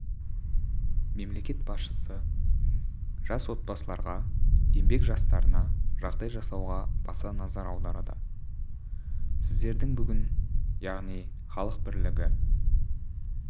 мемлекет басшысы жас отбасыларға еңбек жастарына жағдай жасауға баса назар аударады сіздердің бүгін яғни халық бірлігі